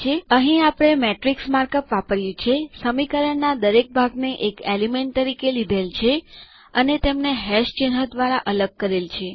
અહીં આપણે શ્રેણિક માર્કઅપ વાપર્યું છે સમીકરણના દરેક ભાગને એક એલિમેન્ટ તરીકે લીધેલ છે અને તેમને ચિહ્ન દ્વારા અલગ કરેલ છે